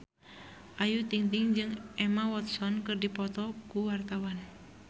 Ayu Ting-ting jeung Emma Watson keur dipoto ku wartawan